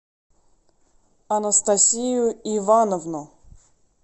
анастасию ивановну